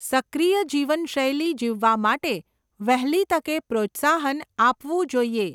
સક્રિય જીવનશૈલી જીવવા માટે વહેલી તકે પ્રોત્સાહન આપવું જોઈએ.